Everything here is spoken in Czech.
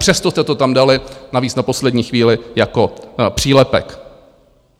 Přesto jste to tam dali, navíc na poslední chvíli jako přílepek.